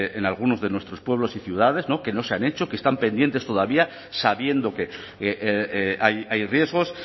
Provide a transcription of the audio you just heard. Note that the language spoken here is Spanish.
en algunos de nuestros pueblos y ciudades que no se han hecho que están pendientes todavía sabiendo que hay riesgos